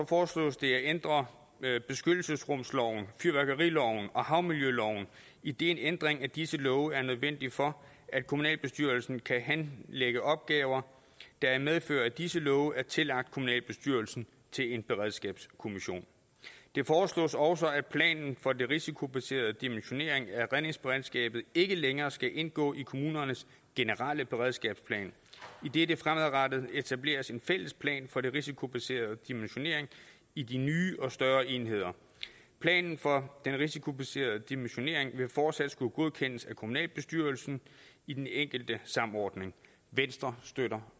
foreslås det at ændre beskyttelsesrumsloven fyrværkeriloven og havmiljøloven idet en ændring af disse love er nødvendigt for at kommunalbestyrelsen kan henlægge opgaver der i medfør af disse love er tillagt kommunalbestyrelsen til en beredskabskommission det foreslås også at planen for den risikobaserede dimensionering af redningsberedskabet ikke længere skal indgå i kommunernes generelle beredskabsplan idet der fremadrettet etableres en fælles plan for den risikobaserede dimensionering i de nye og større enheder planen for den risikobaserede dimensionering vil fortsat skulle godkendes af kommunalbestyrelsen i den enkelte samordning venstre støtter